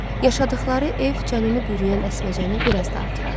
Yaşadıqları ev canını bürüyən əsməcəni bir az da artırırdı.